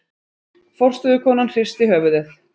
Forstöðukonan hristi höfuðið.